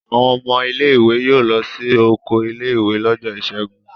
Àwọn ọmọ ilé-ìwé yóò lọ sí oko ilé-ìwé lọ́jọ́ ìṣẹ́gun.